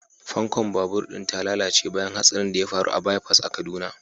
fankon babur din ta lalace bayan hatsarin da ya faru a bypass a kaduna.